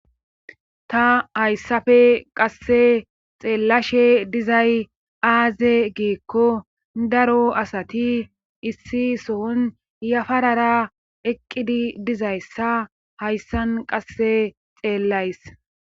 Ta hayssafe qasse xeellashe dizay aaze giikko daro asati issi sohon yafara eqqidi dizayssa hayssan qasse xeelays